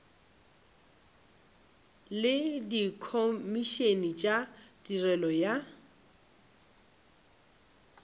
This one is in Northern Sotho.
le dikhomišene tša tirelo ya